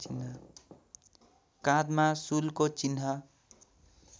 काँधमा शूलको चिह्न